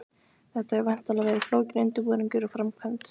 Þetta hefur væntanlega verið flókinn undirbúningur og framkvæmd?